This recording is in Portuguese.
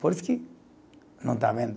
Por isso que, não está vendo?